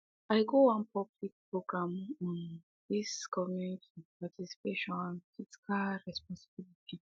i go wan public program on um this government um participation and fiscal um responsibility